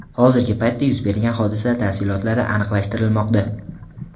Hozirgi paytda yuz bergan hodisa tafsilotlari aniqlashtirilmoqda.